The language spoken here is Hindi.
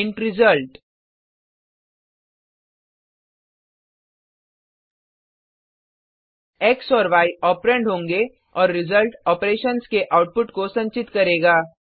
इंट रिजल्ट एक्स और य ओपरेंड होगें और रिजल्ट ऑपरेशन्स के आउटपुट को संचित करेगा